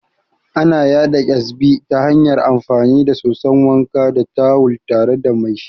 Ana yaɗa Ƙyazbi ta hanyar amfani da soson wanka da tawul tare da mai shi